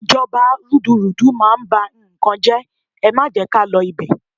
Ìjọba rúdurùdu máa ń bá n kan jẹ́, ẹ má jẹ́ ká lọ ibẹ̀.